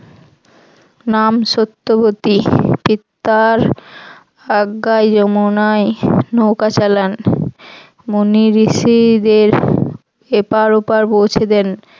নাম সত্যবতী নৌকা চালান মণী ঋষিদের এপর ওপার পৌছে দেন।